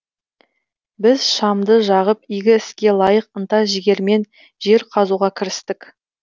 біз шамды жағып игі іске лайық ынта жігермен жер қазуға кірістік